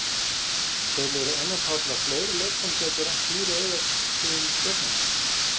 Telur Einar Páll að fleiri leikmenn gætu rennt hýru auga til Stjörnunnar?